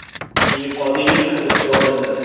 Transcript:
I. Qodirov hibsga olindi.